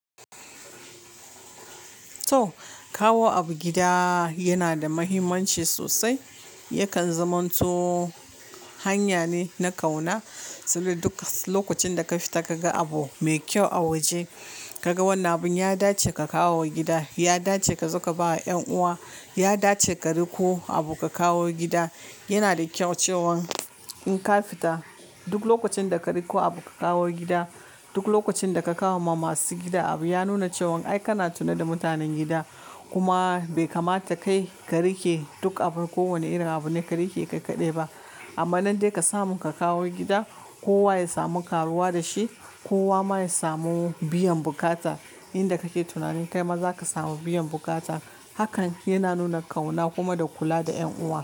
To, kawo abu gida yana da muhimmanci sosai. Yakan zaman to hanya ne na kauna, saboda duk lokacin da ka fita ka ga abu mai kyau a waje, ka ga wannan abin ya dace ka kawo gida, ya dace ka zo ka ba wa ƴan uwa, ya dace ka riƙo abu ka kawo gida. Yana da kyau cewan in ka fita duk lokacin da ka riƙo abu ka kawo gida, duk lokacin da ka kawo ma masu gida abu ya nuna cewan ai kana tuna da mutanen gida. Kuma bai kamata kai ka riƙe duk abu, kowane irin abu ne ka riƙe kai kaɗai ba. Amma nan dai ka samu ka kawo gida, kowa ya samu karuwa da shi, kowa ma ya samu biyan bukata. Inda kake tunanin kai ma za ka samu biyan bukata. Hakan yana nuna kauna kuma da kula da ƴan uwa.